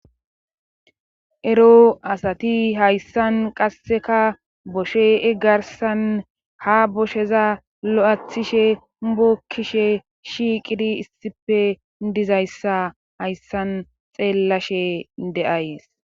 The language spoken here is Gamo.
Ero asati hayssan qasseka boshee garsan ha bosheza lo7athishe bokkishe shiiqidi issife dizayssa hayssan xeellashe de7ayes.